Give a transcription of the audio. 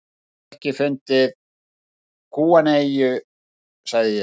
Ég hef ekki fundið gúanóeyju, sagði ég.